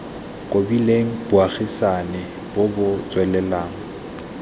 kobileng bogaisani bo bo tswelelang